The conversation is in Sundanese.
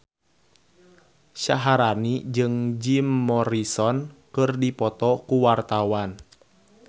Syaharani jeung Jim Morrison keur dipoto ku wartawan